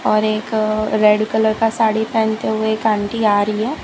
और एक red colour का साड़ी पहनते हुए एक आंटी आ रही है।